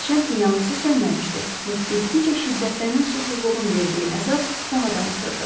Hərçənd ki, yanğısı sönməmişdi və getdikcə şiddətlənən susuzluğun verdiyi əzab daha da artırdı.